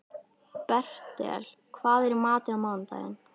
Bertel, hvað er í matinn á mánudaginn?